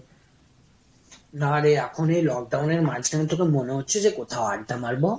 নারে, এখন এই লকডাউনের মাঝখানে তোকে মনে হচ্ছে যে কোথাও আড্ডা মারবো?